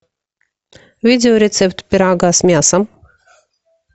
видеорецепт пирога с мясом